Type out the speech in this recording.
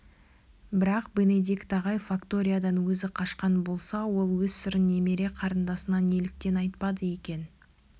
бірақ бенедикт ағай факториядан өзі қашқан болса ол өз сырын немере қарындасына неліктен айтпады екен